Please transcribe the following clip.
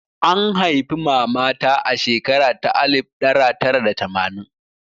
An haifi mama ta a shekara ta alif ɗara tara da tamanin